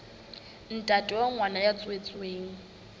ntate wa ngwana ya tswetsweng